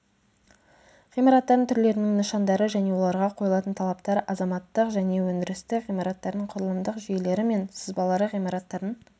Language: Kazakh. ғимараттардың түрлерінің нышандары және оларға қойылатын талаптар азаматтық және өндірістік ғимараттардың құрылымдық жүйелері мен сызбалары ғимараттардың